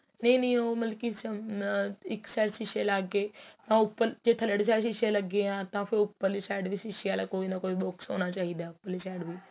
ਨਹੀਂ ਨਹੀਂ ਮਲਕੀ ਆਹ ਇੱਕ side ਸ਼ੀਸੇ ਲੱਗ ਗਏ ਤਾ ਉੱਪਰ ਜ਼ੇ ਤੱਲੜੇ ਵਾਲੀ side ਸ਼ੀਸੇ ਲੱਗੇ ਏ ਤਾ ਫ਼ਿਰ ਉੱਪਰਲੀ side ਵੀ ਸ਼ੀਸੇ ਵਾਲਾ ਕੋਈ ਨਾ ਕੋਈ box ਹੋਣਾ ਚਾਹੀਦਾ ਉੱਪਰਲੀ side ਵੀ